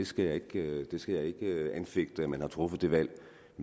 skal ikke anfægte at man har truffet det valg